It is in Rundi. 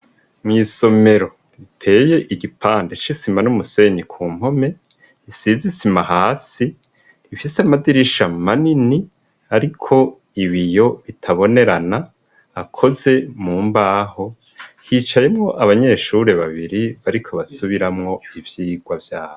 Mw'isomero riteye igipande c'isima n'umusenyi ku mpome isize isima hasi ifise amadirisha mu ma nini, ariko ibiyo bitabonerana akoze mu mbaho hicayemwo abanyeshuri babiri bariko basubiramwo iivyirwa vyabo.